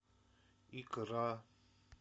икра